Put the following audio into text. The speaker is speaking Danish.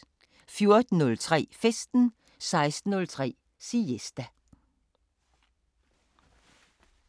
14:03: Festen 16:03: Siesta